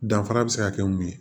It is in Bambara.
Danfara bɛ se ka kɛ mun ye